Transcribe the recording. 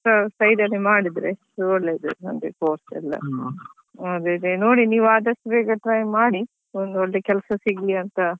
Extra side ಅಲ್ಲಿ ಮಾಡಿದ್ರೆ ಒಳ್ಳೇದು ಅಂದ್ರೆ course ಯೆಲ್ಲ ಅದೇ ಅದೇ ನೋಡಿ ನೀವ್ ಆದಷ್ಟು ಬೇಗ try ಮಾಡಿ ಒಂದೊಳ್ಳೆ ಕೆಲಸ ಸಿಗ್ಲಿ ಅಂತ.